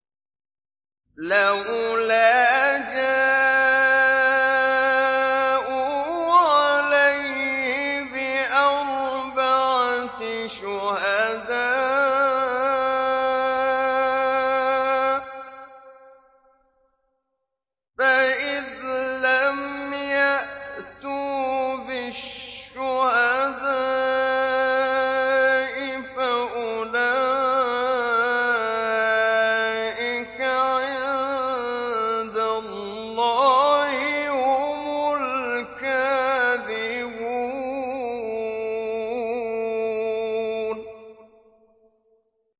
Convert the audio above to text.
لَّوْلَا جَاءُوا عَلَيْهِ بِأَرْبَعَةِ شُهَدَاءَ ۚ فَإِذْ لَمْ يَأْتُوا بِالشُّهَدَاءِ فَأُولَٰئِكَ عِندَ اللَّهِ هُمُ الْكَاذِبُونَ